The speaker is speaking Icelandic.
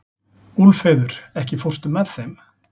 Úlfheiður, ekki fórstu með þeim?